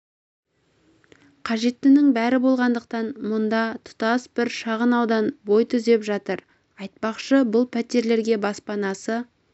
қажеттінің бәрі болғандықтан мұнда тұтас бір шағын аудан бой түзеп жатыр айтпақшы бұл пәтерлерге баспанасы